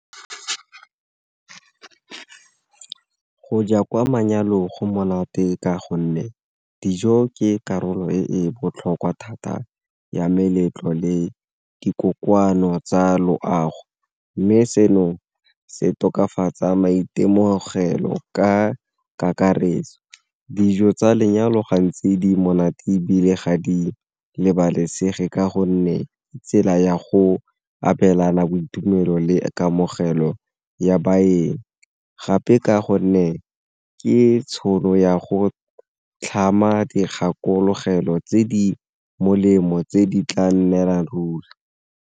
Go ja kwa manyalong go monate ka gonne dijo ke karolo e e botlhokwa thata ya meletlo le dikokwano tsa loago, mme seno se tokafatsa maitemogelo ka kakaretso. Dijo tsa lenyalo gantsi di monate ebile ga di lebalesegeng ka gonne tsela ya go abelana tumelo le kamogelo ya baeng, gape ka gonne ke tšhono ya go tlhama dikgakologelo tse di molemo tse di tla nnelang ruri.